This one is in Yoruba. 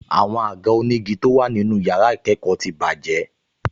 Àwọn àga onígi tó wà nínú yàrá ìkẹ́kọ̀ọ́ ti bàjẹ́